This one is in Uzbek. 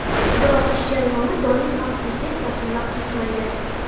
Biroq ish jarayoni doim ham tekis va silliq kechmaydi.